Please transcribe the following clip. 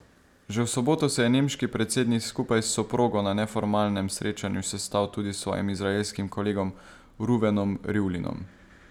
Že v soboto se je nemški predsednik skupaj s soprogo na neformalnem srečanju sestal tudi s svojim izraelskim kolegom Ruvenom Rivlinom.